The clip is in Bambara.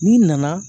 N'i nana